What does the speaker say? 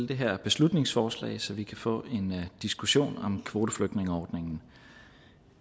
det her beslutningsforslag så vi kan få en diskussion om kvoteflygtningeordningen